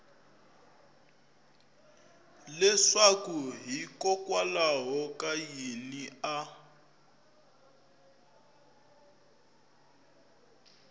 leswaku hikokwalaho ka yini a